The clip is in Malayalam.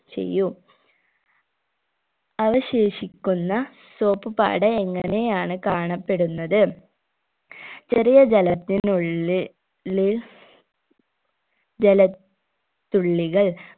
ചെയ്യൂ അവശേഷിക്കുന്ന soap പാട എങ്ങനെയാണ് കാണപ്പെടുന്നത് ചെറിയ ജലത്തിനുള്ളി ള്ളിൽ ജല ത്തുള്ളികൾ